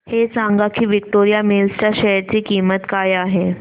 हे सांगा की विक्टोरिया मिल्स च्या शेअर ची किंमत काय आहे